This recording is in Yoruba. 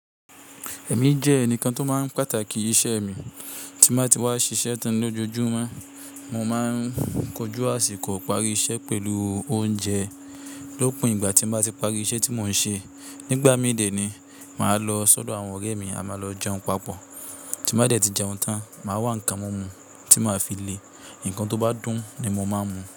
Ẹ̀mí jẹ́ ẹnìkan tó máa ń pàtàkì iṣẹ́ mi. Tí má tí wá ṣiṣẹ́ tán lójoojúmọ́, mo máa ń kojú àsìkò ìparí iṣẹ́ pẹ̀lú oúnjẹ. Lópin ìgbà tí n ba tí parí iṣẹ́ tí mò ń ṣe, nígbà mí ì dè ni màá lọ sọ́dọ̀ àwọn ọ̀rẹ́ mi, à má lọ jẹun papọ̀. Tí n ba dẹ̀ tí jẹun tán, màá wá ńnkan mumú tí màá fi le. Ǹnkan tó bá dùn ni mo máa ń mú.